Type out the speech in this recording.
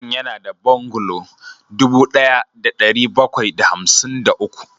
Gidan yana da bungalow dubu ɗaya da ɗari bakwai da hamsin da uku